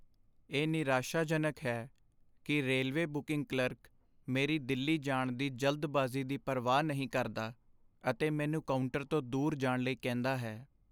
ਇਹ ਨਿਰਾਸ਼ਾਜਨਕ ਹੈ ਕਿ ਰੇਲਵੇ ਬੁਕਿੰਗ ਕਲਰਕ ਮੇਰੀ ਦਿੱਲੀ ਜਾਣ ਦੀ ਜਲਦਬਾਜ਼ੀ ਦੀ ਪਰਵਾਹ ਨਹੀਂ ਕਰਦਾ ਅਤੇ ਮੈਨੂੰ ਕਾਊਂਟਰ ਤੋਂ ਦੂਰ ਜਾਣ ਲਈ ਕਹਿੰਦਾ ਹੈ।